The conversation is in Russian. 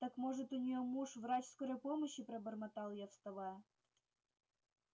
так может у неё муж врач скорой помощи пробормотал я вставая